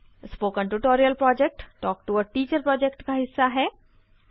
spoken tutorial project talk to a teacher project का हिस्सा है